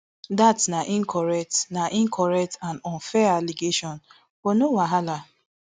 dat na incorrect na incorrect and unfair allegation but no wahala